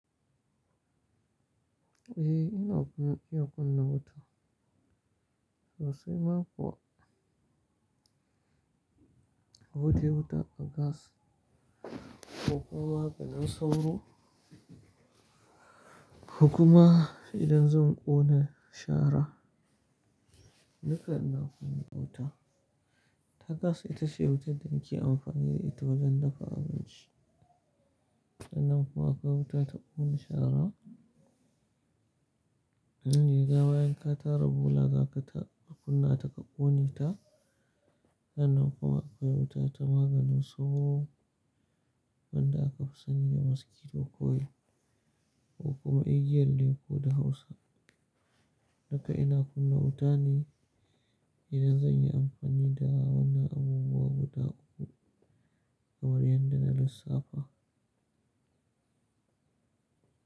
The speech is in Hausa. Eh, ina kuma iya kunna wuta sosai ma kuwa. Kodai wuta a gas, ko kuma maganin sauro, ko kuma idan zan ƙona shara, duka ina kunna wuta. Ta gas ita ce wutar da nake amfani da ita wajen dafa abinci. Sannan kuma akwai wuta ta ƙona shara, indaga bayan ka tara bola, zaka ta kunna ta ka ƙone ta. Sannan kuma akwai wuta ta maganin sauro, wanda aka fi sani da maskito coil, ko kuma igiyar leko da hausa. Duka ina kunna wuta ne idan zan yi amfani da wannan abubuwa guda uku, kamar yadda na lissafa.